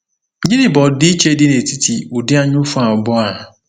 Gịnị bụ ọdịiche dị n’etiti ụdị anyaụfụ abụọ a?